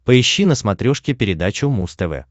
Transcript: поищи на смотрешке передачу муз тв